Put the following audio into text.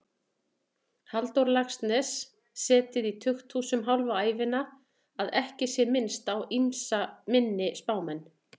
Halldór Laxness setið í tukthúsum hálfa ævina, að ekki sé minnst á ýmsa minni spámenn.